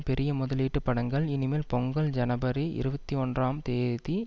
பெரிய முதலீட்டுப் படங்கள் இனி மேல் பொங்கல் ஜனவரி இருவத்தி ஆறாம் தேதி